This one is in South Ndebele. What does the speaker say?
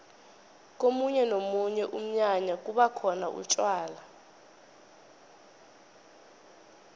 komunye nomunye umnyanya kubakhona utjwala